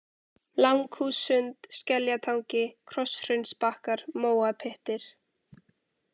Langhússund, Skeljatangi, Krosshraunsbakkar, Móapyttir